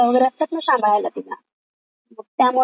त्यामुळे एवढ काही नसत मग मी सीरियल वगैरे बघू शकते.